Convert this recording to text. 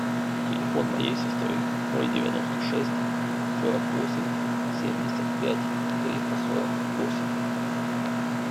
телефон моей сестры ноль девяносто шесть сорок восемь семьдесят пять триста сорок восемь